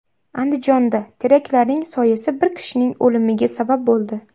Andijonda teraklarning soyasi bir kishining o‘limiga sabab bo‘ldi.